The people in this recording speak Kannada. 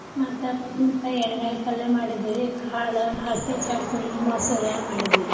ಮತ್ತ ಬದ್ನಿ ಎಣ್ಣೆಗಾಯಿ ಪಲ್ಲೇ ಮಾಡಿದ್ವೀ ರೀ ಕಾಳ ಹಸಿ ಚಟ್ನಿ ಮೊಸ್ರ ಮಾಡಿದ್ವಿ ರೀ.